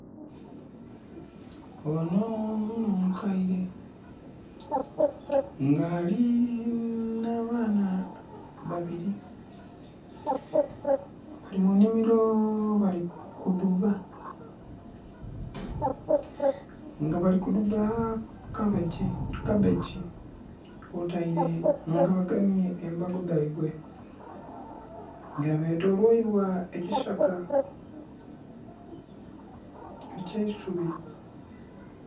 Ono n'omukaire nga alina abaana babiri. Bali mu nimiro bali kudhuba nga bali kudhuba kabbegi, kwotaile, nga bagemye embago dhaibwe nga betoloirwa ekisaka ekyeisubi